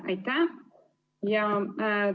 Aitäh!